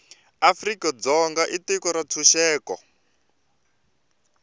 afrika dzonga i tiko ra ntshuxeko